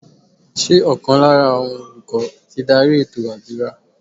Ṣé ọ̀kan lára àwọn olùkọ́ ti dárí ètò àdúrà?